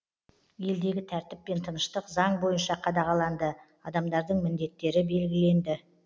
елдегі тәртіп пен тыныштық заң бойынша қадағаланды адамдардың міндеттері белгіленді